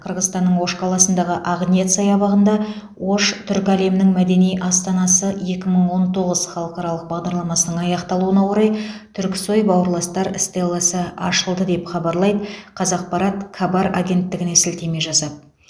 қырғызстанның ош қаласындағы ақниет саябағында ош түркі әлемінің мәдени астанасы екі мың он тоғыз халықаралық бағдарламасының аяқталуына орай түрксой бауырластар стелласы ашылды деп хабарлайды қазақпарат кабар агенттігіне сілтеме жасап